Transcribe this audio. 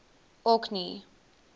orkney